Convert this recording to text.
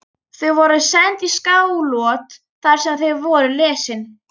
Þau voru send í Skálholt þar sem þau voru lesin.